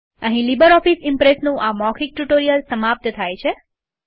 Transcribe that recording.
અહીં લીબરઓફીસ ઈમ્પ્રેસનું આ મૌખિક ટ્યુટોરીયલ સમાપ્ત થાય છે